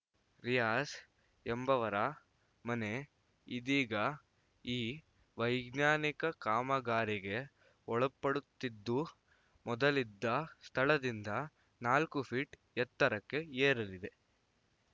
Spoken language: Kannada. ರಿಯಾಝ್‌ ಎಂಬವರ ಮನೆ ಇದೀಗ ಈ ವೈಜ್ಞಾನಿಕ ಕಾಮಗಾರಿಗೆ ಒಳಪಡುತ್ತಿದ್ದು ಮೊದಲಿದ್ದ ಸ್ಥಳದಿಂದ ನಾಲ್ಕು ಫೀಟ್‌ ಎತ್ತರಕ್ಕೆ ಏರಲಿದೆ